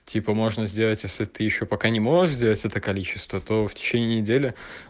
типа можно сделать если ты ещё пока не можешь сделать это количество то в течение недели